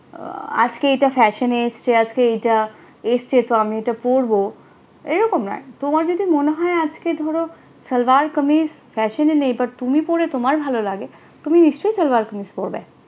আজকে এটা fashion এ এটা পোড়বো, ঐরকম নয়, তোমার যদি মনে হয় আজকে তুমরো শলবার কমিজ fashion এই তুমি পড়ে তোমার ভালো লাগ তুমি নিশ্চয়ই সলবার কমিজ পারবে